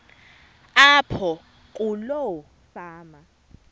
apho kuloo fama